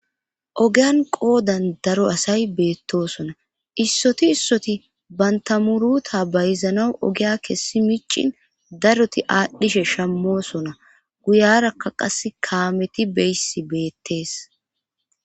ogiyan qoodan daro asay beettosona issoti issoti bantamuruta bayzanaw ogiya kessi micin daroti aadhdhishe shammosona guyarakka qas kaameti beyssi beettees